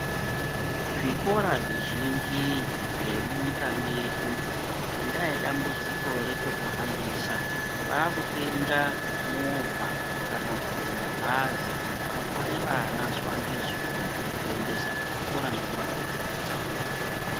Zvikora zvizhinji zvemunyika mwedu ngendaa yedambudziko rechokuhambisa. Vakutenga movha kana kuti mabhazi anotware vana zuva ngezuva kuendesa kuchikora nekuvapetidza.